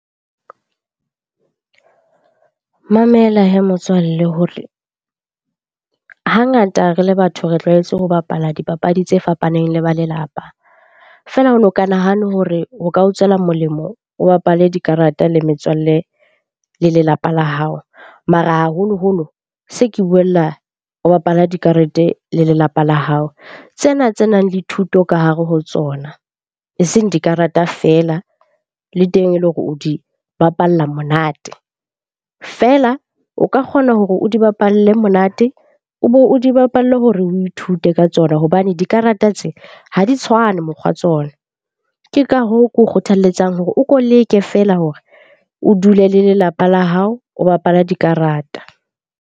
Mamela hee motswalle hore hangata re le batho re tlwaetse ho bapala dipapadi tse fapaneng le ba lelapa. Feela o no ka nahana hore o ka o tswela molemo o bapale dikarata le metswalle le lelapa la hao, mara haholoholo se ke buella o bapala dikarete le lelapa la hao. Tsena tsenang le thuto ka hare ho tsona eseng dikarata feela, le teng e le hore o di bapalla monate. Feela, o ka kgona hore o di bapalle monate, o be o di bapalle hore o ithute ka tsona hobane dikarata tse ha di tshwane mokgwa tsona. Ke ka hoo ke kgothalletsang hore o ko leke feela hore o dule le lelapa la hao, o bapala dikarata.